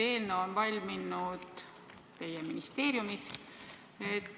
Eelnõu on valminud teie ministeeriumis.